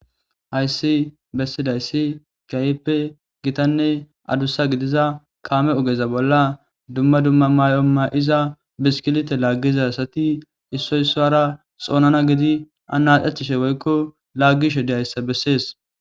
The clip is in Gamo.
Hayssi bessidayssi gayppe gitanne adussa gidiza kaame ogeza bolla dumma dumma may'oma'iza biskilite laaggiza asati issoy soara xoonana gidi anaxechishe woykko laggishe deyayssa bessees